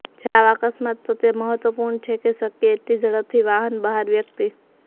જ્યારે આવા અકસ્માતો તે મહત્વપૂર્ણ છે કે શક્ય એટલી ઝડપથી વાહન બહાર વ્યક્તિ